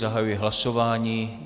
Zahajuji hlasování.